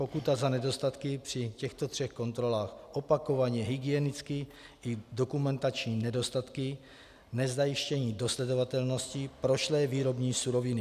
Pokuta za nedostatky při těchto třech kontrolách, opakovaně hygienické i dokumentační nedostatky, nezajištění dosledovatelnosti, prošlé výrobní suroviny.